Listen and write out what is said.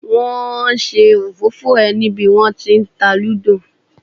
Wọn ṣe òfófó ẹ ní bí wọn tí ń ta Lúdò.